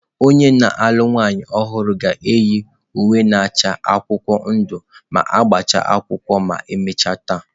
Onye na-alụ nwanyị ọhụrụ ga-eyi uwe na-acha akwụkwọ ndụ maka agbamakwụkwọ ma emechaa taa.